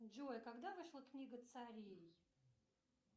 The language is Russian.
джой когда вышла книга царей